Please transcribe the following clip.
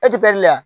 E ti pɛri la